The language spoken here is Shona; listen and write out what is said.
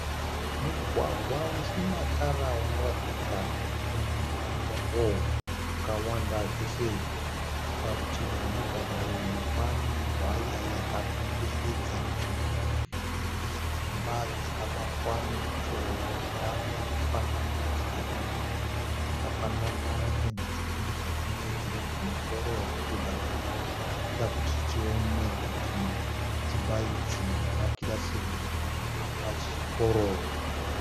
Mugwagwa usina tara unotaridza kuti une matombo akawanda chose. Parutivi rwomugwagwa uyu pane hwaya yakakomberedza nzvimbo ine dzimba dzakavakwa nemutovo wakada kufanana dzikapendwa nependi yakafanana. Pendi tsvuku muzasi neyekirimu kumusoro zvichibva zvaita kuti tione kuti dzimba idzi makirasi rumhu apa pachikoro.